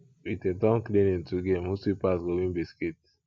we dey turn cleaning to game who sweep pass go win biscuit